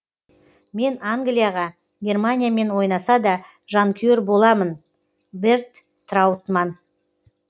мен англияға германиямен ойнасада жанкүйер боламын берт траутманн